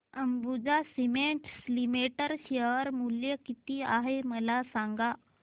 Ambuja cements limited share मूल्य किती आहे मला सांगा